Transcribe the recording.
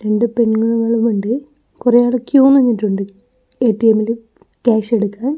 രണ്ടു പെണ്ണുങ്ങളും ഉണ്ട് കുറേയാള് ക്യൂ നിന്നിട്ടുണ്ട് എ_ടി_എം ൽ ക്യാഷ് എടുക്കാൻ.